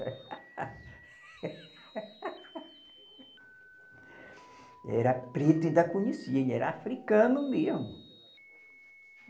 Ele era preto e ainda conheci, ele era africano mesmo.